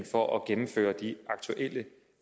for at gennemføre de aktuelle